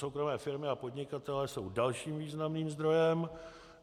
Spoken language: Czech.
Soukromé firmy a podnikatelé jsou dalším významným zdrojem.